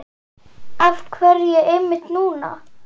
Af hverju einmitt núna?